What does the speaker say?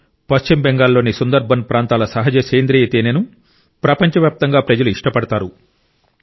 పశ్చిమ బెంగాల్ లోని సుందర్బన్ ప్రాంతాల సహజ సేంద్రీయ తేనెను ప్రపంచవ్యాప్తంగా ప్రజలు ఇష్టపడతారు